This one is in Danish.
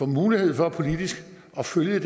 mulighed for at følge